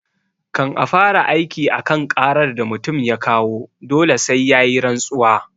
Kan a fara aiki a kan ƙarar da mutum ya kawo dole sai yayi rantsuwa